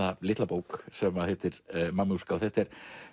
litla bók sem heitir Mamúska þetta er